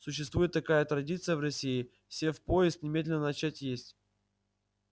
существует такая традиция в россии сев в поезд немедленно начать есть